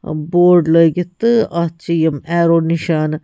. نِشانہٕ تہٕ اَتھ چھ یِم ایرو بورڈ لاگتھ